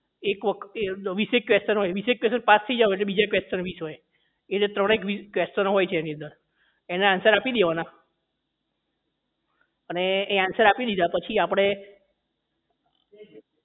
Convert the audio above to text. arc વખતે વીસ એક question હોય એટલે વીસ એક question પાસ થઇ જાવ એટલે બીજા question વીસ હોય એજે ત્રણ એક વીસ question નો હોય છે એની અંદર એના answer આપી દેવાના અને એ answer આપી દીધા પછી આપણે